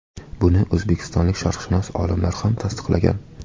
Buni o‘zbekistonlik sharqshunos olimlar ham tasdiqlagan.